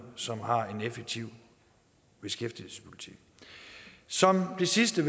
som har en effektiv beskæftigelsespolitik som det sidste